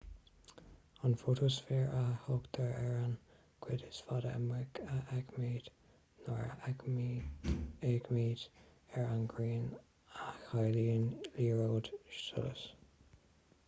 an fótasféar a thugtar ar an gcuid is faide amuigh a fheicimid nuair a fhéachaimid ar an ngrian a chiallaíonn liathróid solais